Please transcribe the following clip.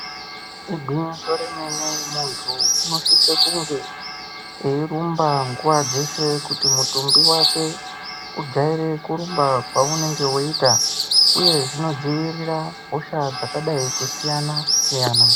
Igwinyiso remene muntu unosise kunge eirumba nguva dzeshe kuti mutumbi vake ujaire kurumba kwaunenge veiita, uye zvinodzivirira hosha dzakadai kusiyana-siyana.